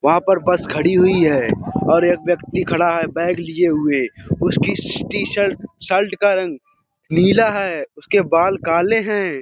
वहाँ पर बस खड़ी हुई है और एक व्यक्ति खड़ा है बैग लिए हुए। उसकी टीशर्ट शर्ट का रंग नीला है। उसके बाल काले हैं।